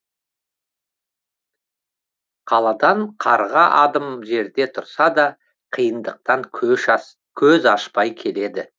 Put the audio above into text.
қаладан қарға адым жерде тұрса да қиындықтан көз ашпай келеді